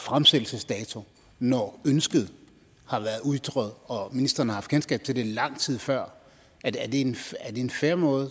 fremsættelsesdato når ønsket har været ytret og ministeren har haft kendskab til det lang tid før er det en fair måde